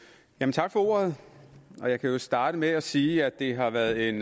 tak for ordet jeg kan jo starte med at sige at det har været en